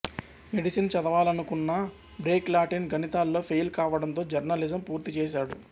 medicine చదవాలనుకున్నా Greek Latin గణితాల్లో fail కావటంతో జర్నలిజం పూర్తిచేశాడు